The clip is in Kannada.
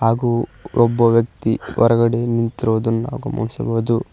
ಹಾಗು ಒಬ್ಬ ವ್ಯಕ್ತಿ ಹೊರಗಡೆ ನಿಂತಿರುವುದನ್ನು ಗಮನಿಸಬಹುದು.